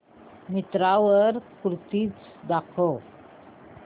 मिंत्रा वर कुर्तीझ दाखव